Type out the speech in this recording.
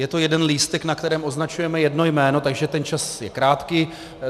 Je to jeden lístek, na kterém označujeme jedno jméno, takže ten čas je krátký.